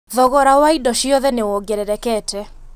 Thogora wa indo ciothe nĩ wongererekete